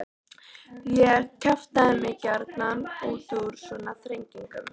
Ég kjaftaði mig gjarnan út úr svona þrengingum.